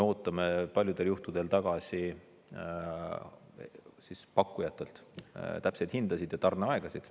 Paljudel juhtudel me ootame pakkujatelt tagasi täpseid hindasid ja tarneaegasid.